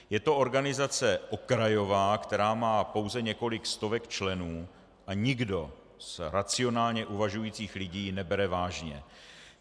Je to organizace okrajová, která má pouze několik stovek členů, a nikdo z racionálně uvažujících lidí ji nebere vážně.